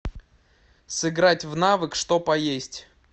сыграть в навык что поесть